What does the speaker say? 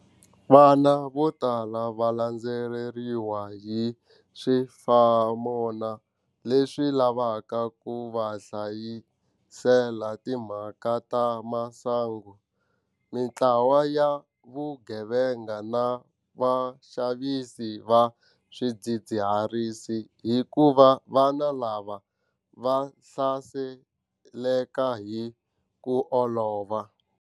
Vana vo tala va landzeleriwa hi swifamona leswi lavaka ku va hlasela hi timhaka ta masangu, mitlawa ya vugevenga na vaxavisi va swidzidziharisi hikuva vana lava va hlaseleka hi ku olova.